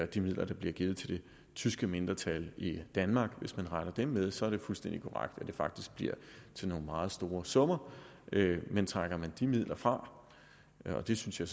de midler der bliver givet til tyske mindretal i danmark regner dem med så er det fuldstændig korrekt at det faktisk bliver til nogle meget store summer men trækker man de midler fra og det synes jeg